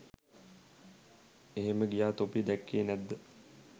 එහෙම ගියා තොපි දැක්කේ නැද්ද?